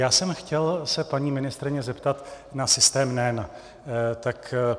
Já jsem se chtěl paní ministryně zeptat na systém NEN.